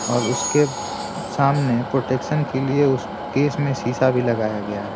और उसके सामने प्रोटेक्शन के लिए उस केस में शीशा भी लगाया गया है।